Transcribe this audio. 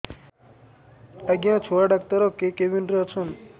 ଆଜ୍ଞା ଛୁଆ ଡାକ୍ତର କେ କେବିନ୍ ରେ ଅଛନ୍